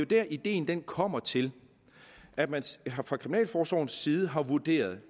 der ideen kommer til at man fra kriminalforsorgens side har vurderet at